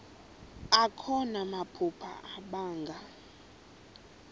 akho namaphupha abanga